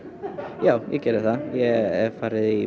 já ég gerði það ég hef farið í